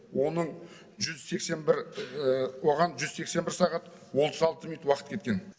оның жүз сексен бір оған жүз сексен бір сағат отыз алты минут уақыт кеткен